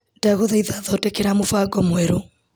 Ndagũthaitha thondekera mũbango mwerũ .